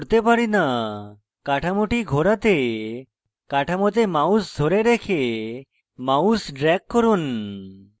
কাঠামোটি ঘোরাতে কাঠামোতে mouse ধরে রেখে mouse drag করুন